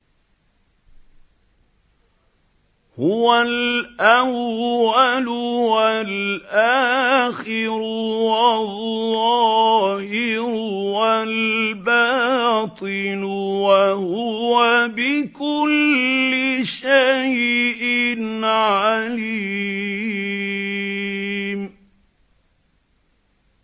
هُوَ الْأَوَّلُ وَالْآخِرُ وَالظَّاهِرُ وَالْبَاطِنُ ۖ وَهُوَ بِكُلِّ شَيْءٍ عَلِيمٌ